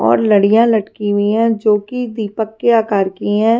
और लड़ियां लटकी हुई है जो कि दीपक के आकार की है।